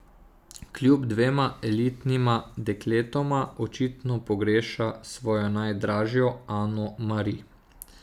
Kljub dvema elitnima dekletoma očitno pogreša svojo najdražjo Ano Mari.